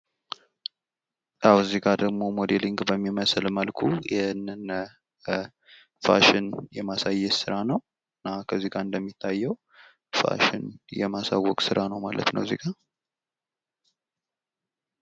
አዎ እዚጋ ደግሞ ሞዴሊንግ በሚመስል መልኩ ይሄንን ፋሽን የማሳየት ሥራ ነው እና ከዚጋ እንደሚታየው ፋሽን የማሳወቅ ሥራ ነው ማለት ነው እዚጋ